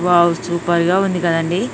Wow super గా ఉంది కదండీ.